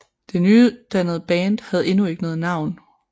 Det nydannede band havde endnu ikke noget navn